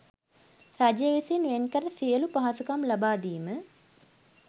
රජය විසින් වෙන් කර සියලු පහසුකම් ලබා දීම